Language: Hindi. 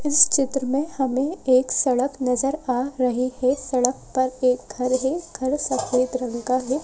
इस चित्र में हमें एक सड़क नजर आ रही है सड़क पर एक घर है घर सफेद रंग का है।